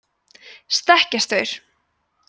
stekkjarstaur